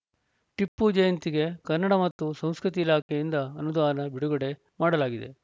ಟಿಪ್ಪು ಜಯಂತಿಗೆ ಕನ್ನಡ ಮತ್ತು ಸಂಸ್ಕೃತಿ ಇಲಾಖೆಯಿಂದ ಅನುದಾನ ಬಿಡುಗಡೆ ಮಾಡಲಾಗಿದೆ